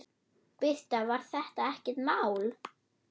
Birta: Var þetta ekkert mál?